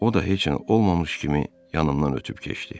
O da heç nə olmamış kimi yanımdan ötüb keçdi.